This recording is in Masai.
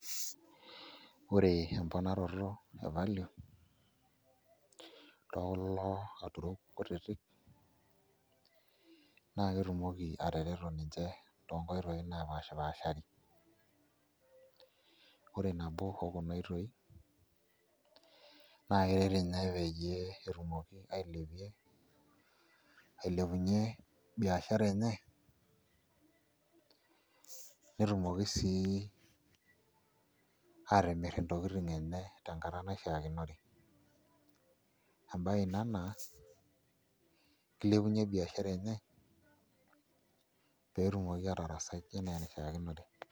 Ore emponaroto evalue tookulo aturrok kutitik naa ketumoki atareto ninche tekuna oitooi naapashipaashari ore nabo okuna oitoi naa keret ninye peyie etumoki ailepunyie biashara enye netumoki sii atimirr ntokitin enye tenkata naishiakinore embaye ina naa kilepunyie biashara enye pee etumoki aatarasai enaa enaishiakinore.